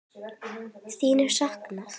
Þín er saknað.